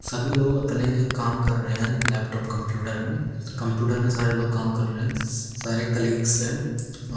सभी लोग अपने काम कर रहे हैं लैपटॉप कम्प्यूटर में कम्प्यूटर में सारे लोग काम कर रहे हैं सारे कलीग्स है।